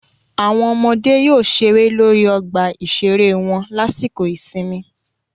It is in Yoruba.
Àwọn ọmọdé yóò ṣeré lórí ọgbà ìṣeré wọn lásìkò ìsinmi